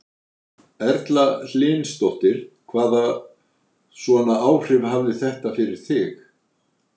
Erla Hlynsdóttir: Hvaða svona áhrif hafði þetta fyrir þig?